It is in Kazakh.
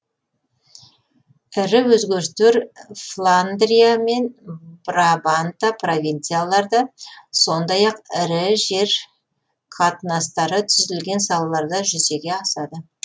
ірі өзгерістер фландрия мен брабанта провинцияларда сондай ақ ірі жер қатынастары түзілген салаларда жүзеге асады